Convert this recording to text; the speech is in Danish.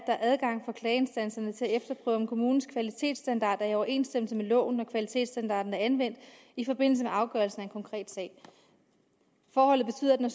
er adgang for klageinstanserne til at efterprøve om kommunens kvalitetsstandard er i overensstemmelse med loven og at kvalitetsstandarden er anvendt i forbindelse med afgørelsen af en konkret sag forholdet betyder at når